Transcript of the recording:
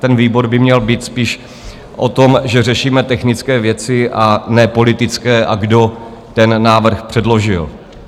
Ten výbor by měl být spíš o tom, že řešíme technické věci, a ne politické a kdo ten návrh předložil.